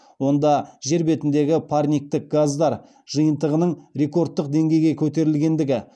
онда жер бетіндегі парниктік газдар жиынтығының рекордтық деңгейге көтерілгендігі